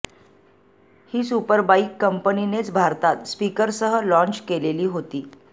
ही superbike कंपनीनेच भारतात स्पीकरसह लाँच केलेली होती